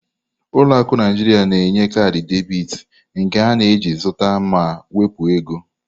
Ụlọ akụ Naijiria na-enye kaadị debit, nke ị na-eji zụta ma wepụ ego.